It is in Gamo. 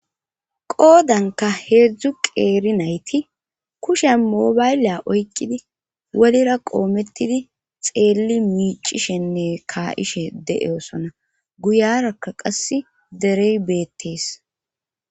qoodanka heedzdzu qeeri nayti kushen mobayliya oykkidi wolira qoomettidi xeelli miicishenne kayishe de7e osona guyarakka qas derey beettees